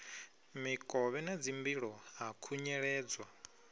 mikovhe na dzimbilo ha khunyeledzwa